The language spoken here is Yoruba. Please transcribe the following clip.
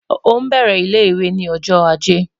O n bẹrẹ ile-iwe ni ọjọ Aje